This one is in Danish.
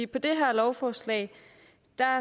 på det her lovforslag